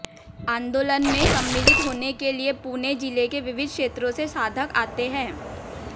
आंदोलनमें सम्मिलित होनेके लिए पुणे जिलेके विविध क्षेत्रोंसे साधक आते हैं